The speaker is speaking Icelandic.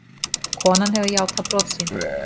Konan hefur játað brot sín.